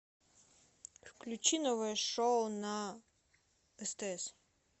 включи новое шоу на стс